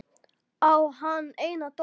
Á hann eina dóttur.